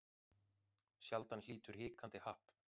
Sjaldan hlýtur hikandi happ.